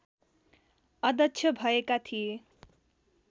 अध्यक्ष भएका थिए